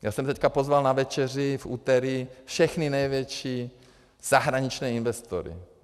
Já jsem teď pozval na večeři v úterý všechny největší zahraniční investory.